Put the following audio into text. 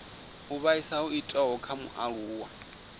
u vhaisa ho itiwaho kha mualuwa